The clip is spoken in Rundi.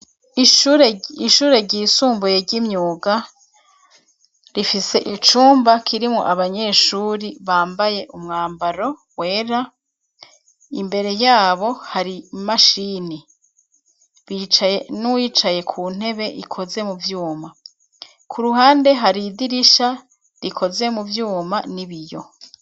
Ishure ry'isumbuye ry'imyuga rifise icumba kirimwo abanyeshure bambaye umwambaro wera, imbere yabo hari imashini bicaye n'uwicaye ku ntebe ikoze mu vyuma ku ruhande hari idirisha rikozwe mu vyuma n'ibiyo.